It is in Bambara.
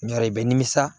Nɔri i bɛ nimisa